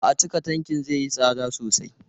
A'a, cika tankin zai yi tsada sosai.